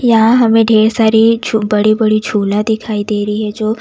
यहां हमें ढेर सारे झू बड़े बड़े झूला दिखाई दे रही है जो--